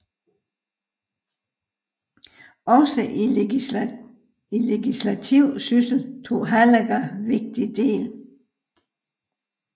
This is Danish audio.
Også i legislativ syssel tog Hallager vigtig del